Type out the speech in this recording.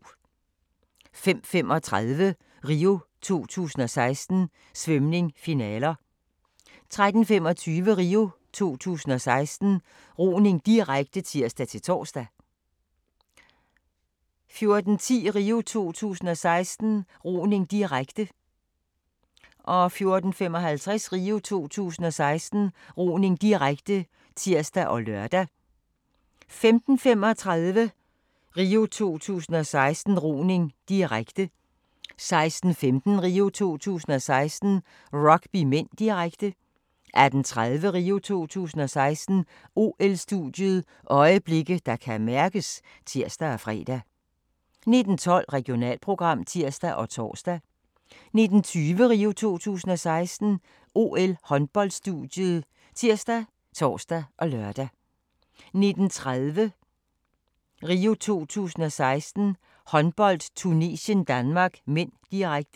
05:35: RIO 2016: Svømning - finaler 13:25: RIO 2016: Roning, direkte (tir-tor) 14:10: RIO 2016: Roning, direkte 14:55: RIO 2016: Roning, direkte (tir og lør) 15:35: RIO 2016: Roning, direkte 16:15: RIO 2016: Rugby (m), direkte 18:30: RIO 2016: OL-studiet – øjeblikke, der kan mærkes (tir og fre) 19:12: Regionalprogram (tir og tor) 19:20: RIO 2016: OL-håndboldstudiet ( tir, tor, lør) 19:30: RIO 2016: Håndbold - Tunesien-Danmark (m), direkte